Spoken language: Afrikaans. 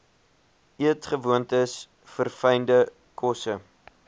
eetgewoontes verfynde kosse